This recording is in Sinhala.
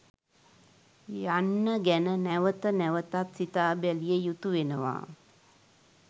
යන්න ගැන නැවත නැවතත් සිතාබැලිය යුතු වෙනවා.